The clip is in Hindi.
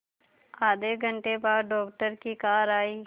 आधे घंटे बाद डॉक्टर की कार आई